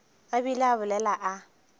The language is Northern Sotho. a bile a bolela a